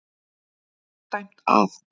MARK DÆMT AF.